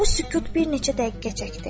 Bu sükut bir neçə dəqiqə çəkdi.